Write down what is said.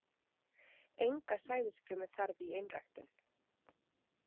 Enga sæðisfrumu þarf í einræktun.